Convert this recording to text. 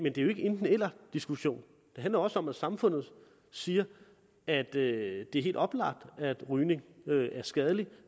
ikke en enten eller diskussion det handler også om at samfundet siger at det er helt oplagt at rygning er skadeligt og